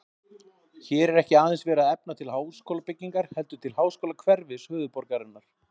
Hér er ekki aðeins verið að efna til háskólabyggingar heldur til háskólahverfis höfuðborgarinnar.